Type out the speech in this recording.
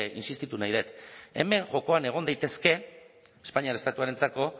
intsistitu nahi dut hemen jokoan egon daitezke espainiar estatuarentzako